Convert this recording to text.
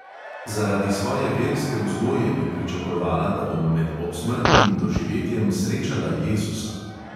Zaradi svoje verske vzgoje bi pričakovala, da bom med obsmrtnim doživetjem srečala jezusa.